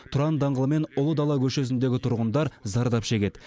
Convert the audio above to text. тұран даңғылы мен ұлы дала көшесіндегі тұрғындар зардап шегеді